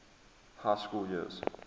high school years